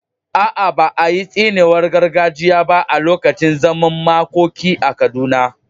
A’a, ba a yi tsiniwar gargajiya ba a lokacin zaman makoki a Kaduna.